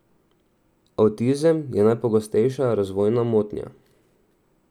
Avtizem je najpogostejša razvojna motnja.